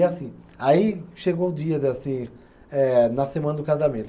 E, assim, aí chegou o dia, de assim, eh na semana do casamento.